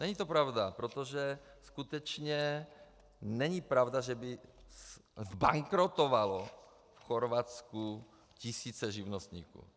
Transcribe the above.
Není to pravda, protože skutečně není pravda, že by zbankrotovaly v Chorvatsku tisíce živnostníků.